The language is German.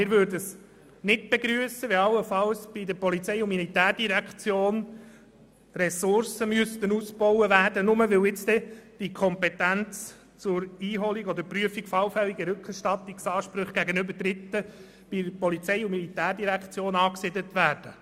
Wir würden es nicht begrüssen, wenn bei der Polizei- und Militärdirektion die Ressourcen ausgebaut werden müssten, nur weil die Kompetenz zur Einholung oder Prüfung allfälliger Rückerstattungsansprüche gegenüber Dritten bei der POM angesiedelt würden.